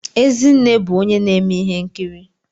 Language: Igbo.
Ezinne bụ onye na-eme ihe nkiri